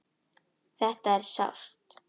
Þetta er sárt.